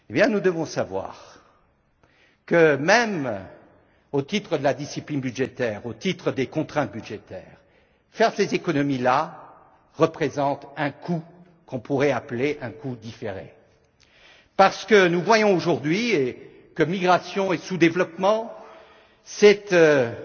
Nous devons alors savoir que, même au titre de la discipline budgétaire, au titre des contraintes budgétaires, faire ces économies représente un coût qu'on pourrait appeler un coût différé, parce que nous voyons aujourd'hui que migration et sous développement